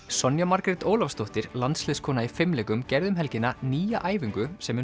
Sonja Margrét Ólafsdóttir landsliðskona í fimleikum gerði um helgina nýja æfingu sem